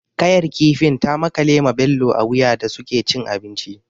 Ƙayar kifin ta makale ma Bello a wuya da suke cin abinci.